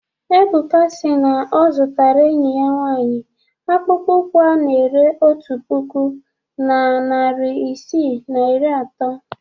Ebuka si na ọ zụtara enyi ya nwaanyị akpụkpọ ụkwụ ana-ere otu puku na narị isii na iri atọ.